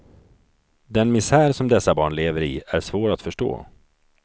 Den misär som dessa barn lever i är svår att förstå.